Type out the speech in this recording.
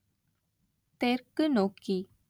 தெற்கு நோக்கி